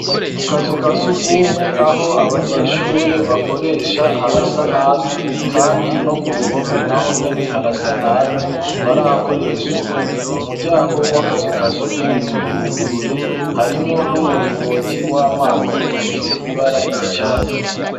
Mu kazu uka siugumwe aho abanyeshure bakoresha harasa nabi, kandi no ku ruhome na ho nyene harasa nabi ntibarahakoreya isuku umuryango w'akazu ka sugumwe uruguruye harimwo n'umuringoti w'amazi ufise ibara ry'icatsi.